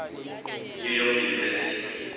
new york university